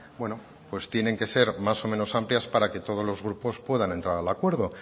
tienen que ser más o menos amplias para que todos los grupos puedan entrar al acuerdo